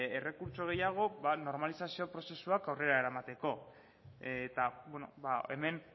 errekurtso gehiago normalizazio prozesuak aurrera eramateko eta hemen